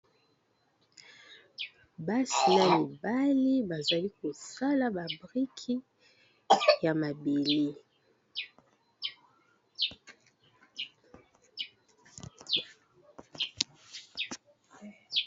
Basi na mibali bazali kosala ba briki ya mabele.